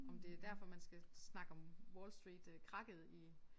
Om det derfor man skal snakke om Wall Street øh krakket i